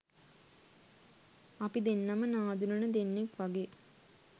අපි දෙන්නම නාඳුනන දෙන්නෙක් වගේ